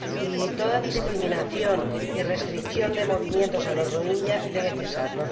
Y toda discriminación y restricción de movimientos a los rohingya debe cesar.